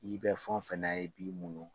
I bɛ fɛn o fɛn na i b'i muɲu